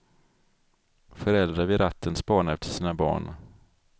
Föräldrar vid ratten spanar efter sina barn.